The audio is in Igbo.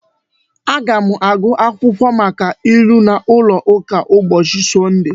Aga m agụ akwụkwọ maka ilu n'ụlọ ụka ụbọchị Sọnde